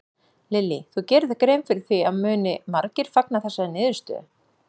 Lillý: Þú gerir þér grein fyrir því að muni margir fagna þessari niðurstöðu?